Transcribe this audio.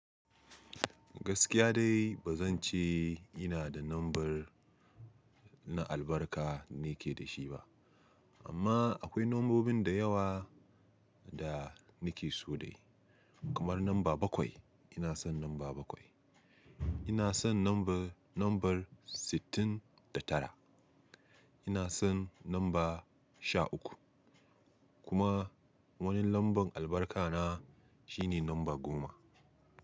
Gaskiya dai ba zan ce ina da lambar na albarka nake da shi ba. Amma akwai lambobin da yawa da nake so dai kamar lamba bakwai. Ina son lamba bakwai. Ina son lambar, lambar sittin da tara. Ina son lamba sha uku kuma wani lambar albarka na shine lamba goma.